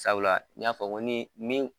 Sabula n y'a fɔ ni ni.